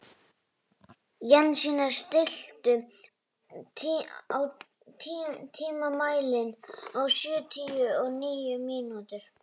Jensína, stilltu tímamælinn á sjötíu og níu mínútur.